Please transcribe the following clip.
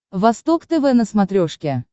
восток тв на смотрешке